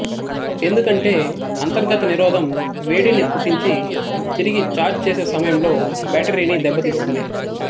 ఎందుకంటే అంతర్గత నిరోధం వేడిని పుట్టించి తిరిగి ఛార్జ్ చేసే సమయంలో బ్యాటరీని దెబ్బతీస్తుంది